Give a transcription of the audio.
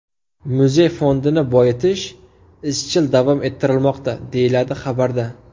Muzey fondini boyitish izchil davom ettirilmoqda”, deyiladi xabarda.